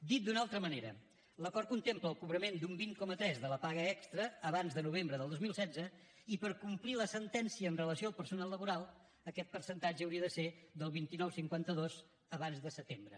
dit d’una altra manera l’acord contempla el cobrament d’un vint coma tres de la paga extra abans de novembre del dos mil setze i per complir la sentència amb relació al personal laboral aquest percentatge hauria de ser del vint nou coma cinquanta dos abans de setembre